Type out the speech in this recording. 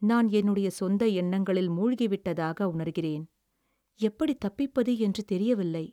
"நான் என்னுடைய சொந்த எண்ணங்களில் மூழ்கிவிட்டதாக உணர்கிறேன். எப்படித் தப்பிப்பது என்று தெரியவில்லை."